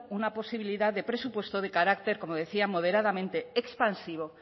una posibilidad de presupuesto de carácter como decía moderadamente expansivo